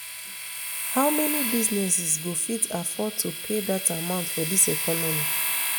how many businesses go fit afford to pay dat amount for dis economy